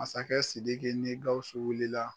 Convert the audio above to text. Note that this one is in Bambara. Masakɛ Sidiki ni Gausu wulila.